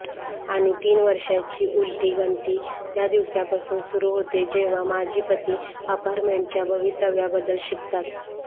आणि तीन वर्षांची उलटी गणती त्या दिवसापासून सुरू होते जेव्हा माजी पती अपार्टमेंटच्या भवितव्याबद्दल शिकतात